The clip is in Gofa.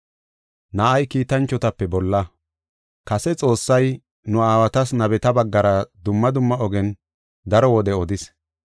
Kase Xoossay, nu aawatas nabeta baggara dumma dumma ogen daro wode odis.